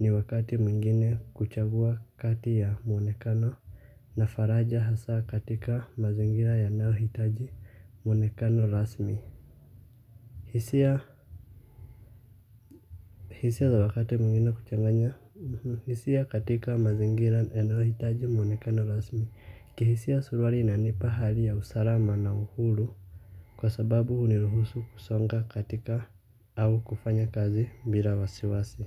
ni wakati mwingine kuchagua kati ya mwonekano na faraja hasa katika mazingira yanayohitaji mwonekano rasmi hisia hisia za wakati mwingine kuchanganya hisia katika mazingira yanayohitaji mwonekano rasmi kihisia suruali inanipa hali ya usalama na uhuru kwa sababu huniruhusu kusonga katika au kufanya kazi bila wasiwasi.